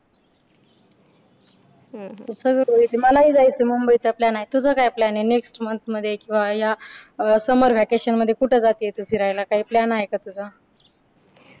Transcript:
मलाही जायचं मुंबई चा plan आहे तुझा काय plan आहे next ninth म्हणजे किंवा या summer vacation मध्ये जाते तू फिरायला काय plan आहे का तुझा